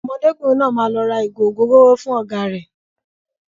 Ọmọdékùnrin náà máa lọ ra ìgò ògóróró fún ọ̀gá rẹ̀.